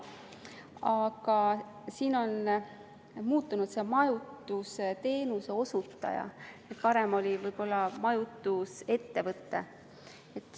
Aga siin on muutunud see, et kirjas on "majutusteenuse osutaja", varem oli võib-olla "majutusettevõte".